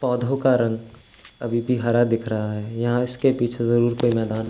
पौधों का रंग अभी भी हरा दिख रहा है। यहाँ इसके पीछे जरूर कोई मैदान --